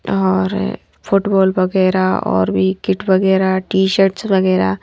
और फुटबॉल वगैरह और भी किट वगैरह टी-शर्ट्स वगैरह--